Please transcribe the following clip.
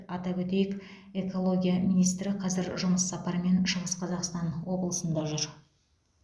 атап өтейік экология министрі қазір жұмыс сапарымен шығыс қазақстан облысында жүр